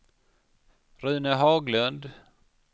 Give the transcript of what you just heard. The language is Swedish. Rune Haglund